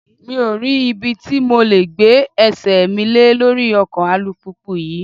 Mi ò rí ibi tí mo le gbé ẹsẹ̀ mi lé lórí ọkọ̀ alùpùpù yí.